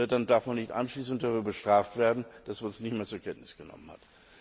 dann darf man nicht anschließend dafür bestraft werden, dass man es nicht mehr zur Kenntnis genommen hat.